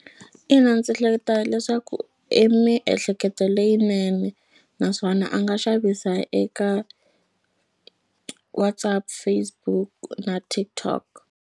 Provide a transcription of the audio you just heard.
Ina, ndzi hleketa leswaku i miehleketo leyinene naswona a nga xavisa eka WhatsApp, Facebook na TikTok.